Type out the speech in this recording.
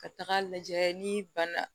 Ka taga lajɛ n'i banna